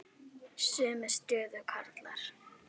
Hann hörfaði inn í stofu.